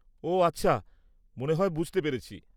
-ওঃ আচ্ছা, মনে হয় বুঝতে পেরেছি।